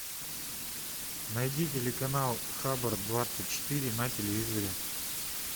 найди телеканал хабр двадцать четыре на телевизоре